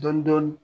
Dɔɔnin dɔɔnin